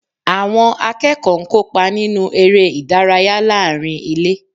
Àwọn akẹ́kọ̀ọ́ ń kópa nínú eré ìdárayá láàárín ilé